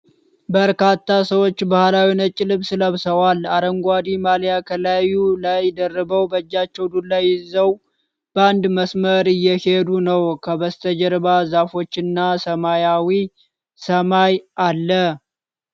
በርካታ ሰዎች ባህላዊ ነጭ ልብስ ለብሰው፣ አረንጓዴ ማሊያ ከላዩ ላይ ደርበው በእጃቸው ዱላ ይዘው በአንድ መስመር እየሄዱ ነው። ከበስተጀርባ ዛፎች እና ሰማያዊ ሰማይ አለ።